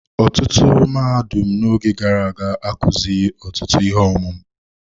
Ọtụtụ mahadum n'oge gara aga akụzighi ọtụtụ ihe ọmụmụ.